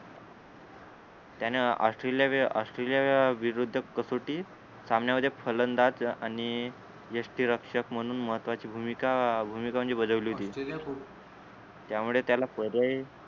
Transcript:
त्याने ऑस्ट्रेलिया वि ऑस्ट्रेलिया विरुद्ध कसोटी सामन्या मध्ये फलंदाज आणि यष्टीरक्षक म्हणून महत्वाची भूमिका भूमिका म्हणजे बजावली होती त्यामुळे त्याला पर्याय